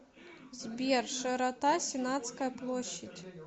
сбер широта сенатская площадь